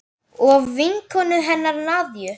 Og vinkonu hennar Nadiu.